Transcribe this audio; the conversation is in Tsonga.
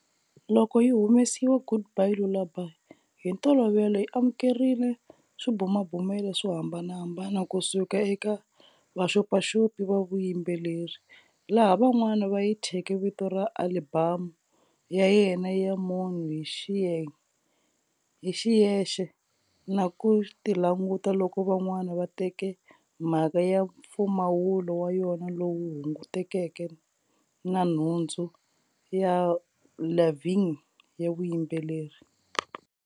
Loko yi humesiwa,"Goodbye Lullaby" hi ntolovelo yi amukerile swibumabumelo swo hambanahambana kusuka eka vaxopaxopi va vuyimbeleri, laha van'wana va yi thyeke vito ra alibamu ya yena ya munhu hi xiyexe na ku ti languta loko van'wana va teke mhaka ya mpfumawulo wa yona lowu hungutekeke na nhundzu ya Lavigne ya vuyimbeleri.